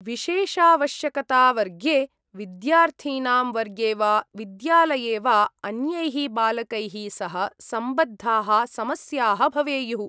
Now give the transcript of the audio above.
विशेषावश्यकतावर्गे, विद्यार्थीनां वर्गे वा विद्यालये वा अन्यैः बालकैः सह सम्बद्धाः समस्याः भवेयुः।